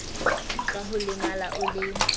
ka ho lemala o le